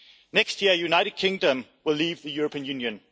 Next year the United Kingdom will leave the European Union.